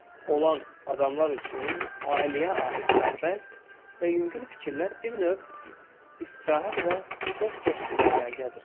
olan adamlar üçün ailəyə aid sərbəst və yüngül fikirlər bir növ istirahət və çox xoş bir əyləncədir.